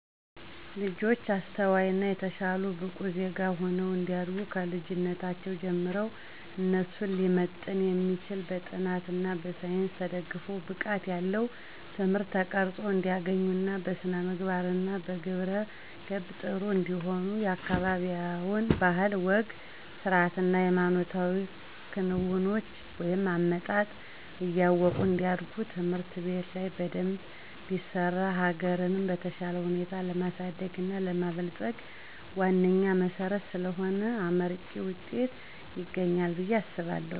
ልጆች አስተዋይ እና የተሻሉ ብቁ ዜጋ ሁነው እንዲያድጉ ከልጅነታቸው ጀምረው እነሱን ሊመጥን የሚችል በጥናት እና በሳይንስ ተደግፎ ብቃት ያለው ትምህርት ተቀረፆ እንዲያገኙ እና በስነምግባር እና በግብረ ገብ ጥሩ እንዲሆኑ የአካበቢያቸውን ባህል፣ ወግ፣ ስርአት እና ሃይማኖታዊ ክንውኖችን(አመጣጥ) እያወቁ እንዲያድጉ ትምህርት ቤት ላይ በደንብ ቢሰራ ሀገርንም በተሻለ ሁኔታ ለማሳደግ እና ለማበልፀግ ዋነኛ መሰረት ስለሆነ አመርቂ ዉጤት ይገኛል ብየ አምናለሁ።